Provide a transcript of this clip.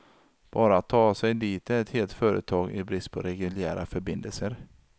Bara att ta sig dit är ett helt företag i brist på reguljära förbindelser.